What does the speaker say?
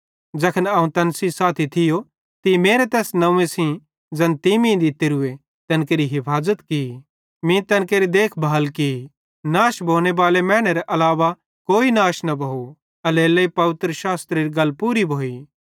ज़ैखन अवं तैन सेइं साथी थियो मीं तेरे तैस नंव्वे सेइं ज़ैन तीं मीं दित्तोरूए तैन केरि हफाज़त की मीं तैन केरि देख भाल की नाश भोनेबाले मैनेरे अलावा कोई नाश न भोव एल्हेरेलेइ पवित्रशास्त्रेरी गल पूरी भोइ